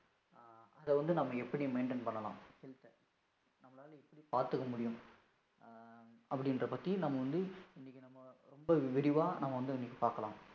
அதை வந்து நம்ம எப்படி maintain பண்ணலாம்? நம்மளால எப்படி பார்த்துக்க முடியும்? அப்படின்ற பத்தி நம்ம வந்து இன்னைக்கு நம்ம ரொம்ப விரிவா நம்ம வந்து இன்னைக்கு பார்க்கலாம்.